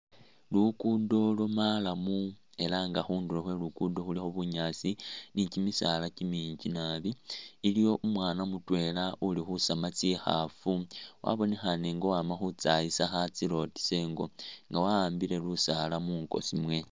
Luguudo lwo maramu ela nga khundulo khwe luguudo khulikho bunyaasi ni kimisaala kimiinji naabi, iliwo umwaana mutweela uli khusaama tsikhaafu wabonekhaane inga uwaama khutsayisa khatsilotesa ingo nga wahambile lusaala munkoosi mwe.